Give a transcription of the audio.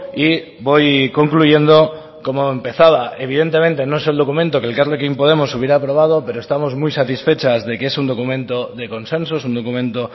y voy concluyendo como empezaba evidentemente no es el documento que elkarrekin podemos hubiera aprobado pero estamos muy satisfechas de que es un documento de consenso es un documento